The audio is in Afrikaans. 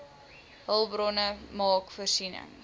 hulpbronne maak voorsiening